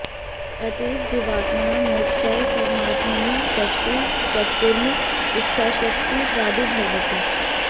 अतएव जीवात्मनां मोक्षाय परमात्मनि सृष्टिं कर्त्तुम् इच्छाशक्तिः प्रादुर्भवति